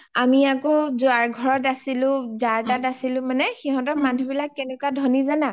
আমি আকৌ যাৰ ঘৰ আছিলো মানে , যাৰ তাত আছিলো মানে সিহতৰ মানে মানুহ বিলাক কেনেকুৱা ধনি জানা